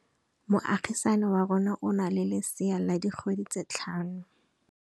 Moagisane wa rona o na le lesea la dikgwedi tse tlhano.